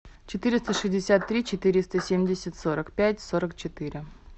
четыреста шестьдесят три четыреста семьдесят сорок пять сорок четыре